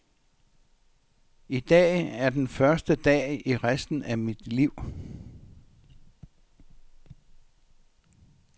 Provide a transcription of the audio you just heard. I dag er den første dag i resten af dit liv.